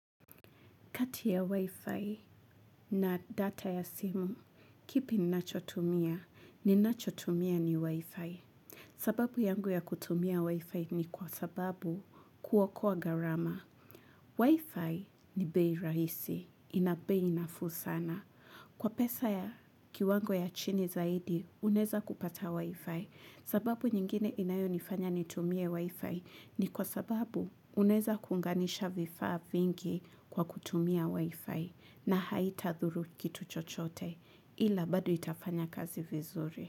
Kati ya Wi-Fi na data ya simu, kipi ninachotumia, ninachotumia ni Wi-Fi. Sababu yangu ya kutumia Wi-Fi ni kwa sababu kuokoa gharama. Wi-Fi ni bei rahisi, ina bei nafuu sana. Kwa pesa ya kiwango ya chini zaidi, unweza kupata Wi-Fi. Sababu nyingine inayo nifanya nitumie wifi ni kwa sababu unaweza kuunganisha vifaa vingi kwa kutumia wifi na haitadhuru kitu chochote ila bado itafanya kazi vizuri.